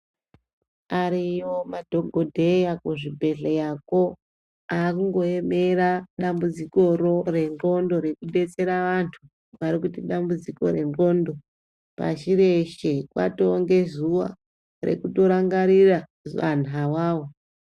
Ariyo madhogodheya kuzvibhedhleyako, akungoemera dambudzikoro rendxondo rekubetsera vantu, vari kuita dambudziko rendxondo. Pashi reshe kwatowo ngezuwa rekutorangarira vanhu awawa.